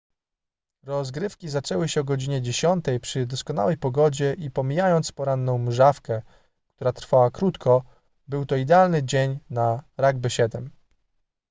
rozgrywki zaczęły się o godzinie 10:00 przy doskonałej pogodzie i pomijając poranną mżawkę która trwała krótko był to idealny dzień na rugby 7